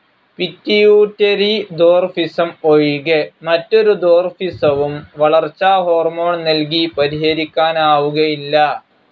Pituitary dwarfism ഒഴികെ മറ്റൊരു ദ്വാർഫിസവും വളർച്ചാഹോർമോൺ നൽകി പരിഹരിക്കാനാവുകയില്ല.